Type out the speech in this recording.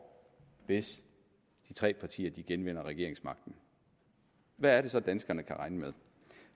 hvis de tre partier genvinder regeringsmagten hvad er det så danskerne kan regne med